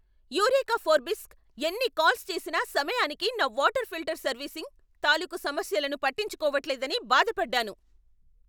Eureka ఫోర్బ్స్కి ఎన్ని calls చేసినా సమయానికి నా వాటర్ ఫిల్టర్ సర్వీసింగ్ తాలూకు సమస్యలను పట్టించుకోవట్లేదని బాధపడ్డాను.